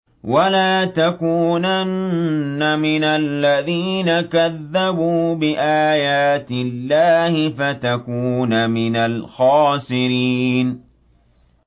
وَلَا تَكُونَنَّ مِنَ الَّذِينَ كَذَّبُوا بِآيَاتِ اللَّهِ فَتَكُونَ مِنَ الْخَاسِرِينَ